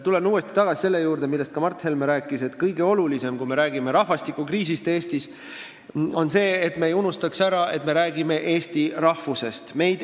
Tulen uuesti tagasi selle juurde, millest ka Mart Helme rääkis – kui me räägime rahvastikukriisist Eestis, siis on kõige olulisem see, et me ei unustaks ära, et me räägime eesti rahvusest.